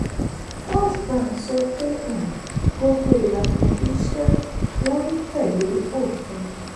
firstbank sọ pé um gbogbo ìlànà iṣẹ́ wọn ń tẹ̀lé òfin.